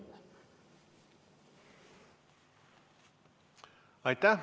Aitäh!